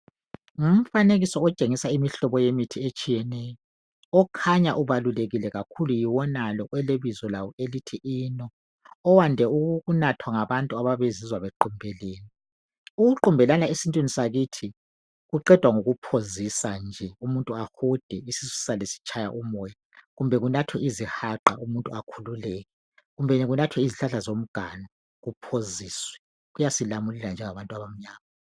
Ngumfanekiso otshengisa imihlobo yemithi etshiyeneyo, okhanya ubalulekile kakhulu yiwonalo olebizo lawo elithi eno, owande ukunathwa ngabantu abayabe bezizwa bequmbelene. Ukuqumbelana esintwini sakithi kuqedwa ngokuphoziswa nje umuntu ahude isisu sisale sitshaya umoya kumbe kunathwe izihaqa umuntu akhululeke kumbe kunathwe izihlahla zomganu kuphoziswe, kuyasilamulela njengabantu abamnyama.